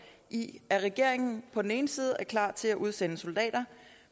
i at regeringen på den ene side er klar til at udsende soldater